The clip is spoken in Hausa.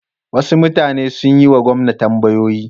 Wasu mutane sun yi wa gwamna tambayoyi.